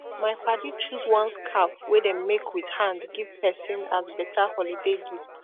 mai padi choose one skarf wey dem make wit hand giv pesin as beta holiday gift